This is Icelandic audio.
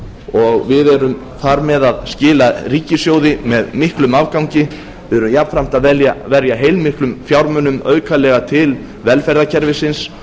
og við erum þar með að skila ríkissjóði með miklum afgangi við erum jafnframt að verja heilmiklum fjármunum aukalega til velferðarkerfisins